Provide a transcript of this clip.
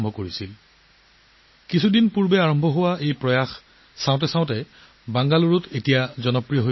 এই প্ৰচেষ্টা কেইদিনমানৰ আগতে আৰম্ভ হৈছিল বেংগালুৰুৰ জনসাধাৰণৰ মাজত ই অতি জনপ্ৰিয় হৈ পৰিছে